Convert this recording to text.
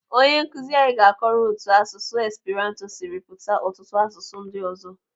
Onye Nkụzi anyị ga-akọọrọ otu asụsụ Esperanto siri pụta ọtụtụ asụsụ ndị ọzọ.